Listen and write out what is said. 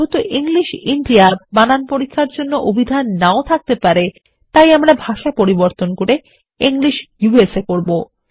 যেহেতু English India বানান পরীক্ষার জন্য অবিধান নাও থাকতে পারে তাই আমরা ভাষা পরিবর্তন করে ইংলিশ ইউএসএ করব